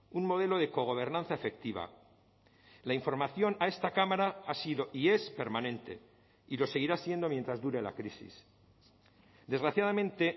un modelo de cogobernanza efectiva la información a esta cámara ha sido y es permanente y lo seguirá siendo mientras dure la crisis desgraciadamente